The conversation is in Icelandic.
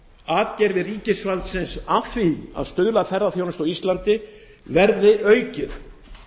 atgervi ríkisvaldsins í því að stuðla að ferðaþjónustu verði aukið